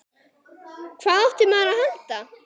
Hvað átti maður að halda?